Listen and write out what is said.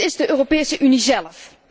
Het is de Europese Unie zélf.